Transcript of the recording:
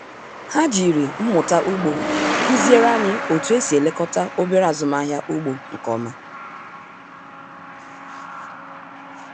Ha jiri mmụta ugbo kụziere anyị otú e si elekọta obere azụmahịa ugbo nke ọma